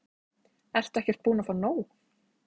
Ertu ekkert búin að fá nóg?